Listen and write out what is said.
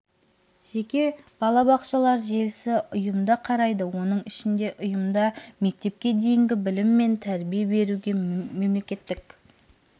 жеке балабақшалар желісі ұйымды құрайды оның ішінде ұйымда мектепке дейінгі білім мен тәрбие беруге мемлекеттік